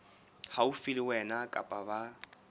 haufi le wena kapa ba